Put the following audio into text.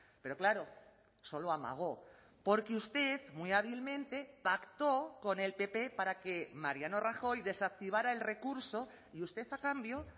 pero claro solo amagó porque usted muy hábilmente pactó con el pp para que mariano rajoy desactivara el recurso y usted a cambio